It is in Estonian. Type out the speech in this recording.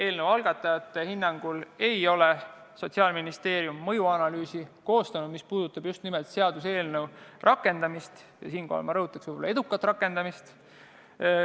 Eelnõu algatajate hinnangul ei ole Sotsiaalministeerium mõjuanalüüsi koostanud, mis puudutab just nimelt seaduseelnõu rakendamist – ja siinkohal ma rõhutaks võib-olla edukat rakendamist.